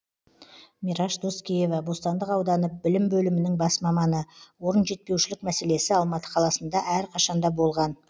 мираш доскеева бостандық ауданы білім бөлімінің бас маманы орын жетпеушілік мәселесі алматы қаласында әрқашанда болған